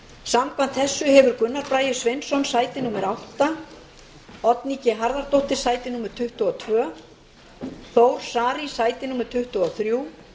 samkvæmt þessu hefur gunnar bragi sveinsson sæti átta oddný g harðardóttir sæti tuttugu og tvö þór saari sæti tuttugu og þrjú